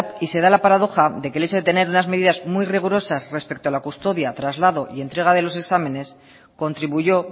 y se da la paradoja de que hecho de tener unas medidas muy rigurosas respecto a la custodia traslado y entrega de los exámenes contribuyó